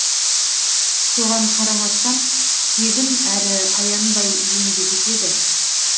соған қарамастан тегін әрі аянбай еңбек етеді